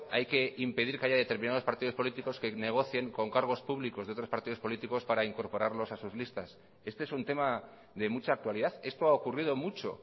hay que impedir que haya determinados partidos políticos que negocien con cargos públicos de otros partidos políticos para incorporarlos a sus listas este es un tema de mucha actualidad esto ha ocurrido mucho